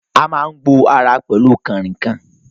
A máa ń gbo ara pẹ̀lú kànrìnkàn